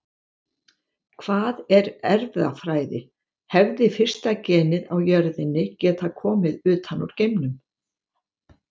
Hvað er erfðafræði Hefði fyrsta genið á jörðinni getað komið utan úr geimnum?